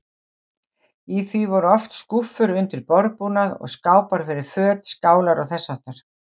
Í því voru oft skúffur undir borðbúnað og skápar fyrir föt, skálar og þess háttar.